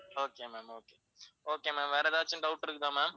okay ma'am, okay. okay ma'am வேற ஏதாச்சும் doubt இருக்குதா ma'am?